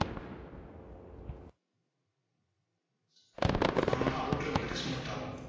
நம்மளோட outer வந்துட்டு smooth ஆகும்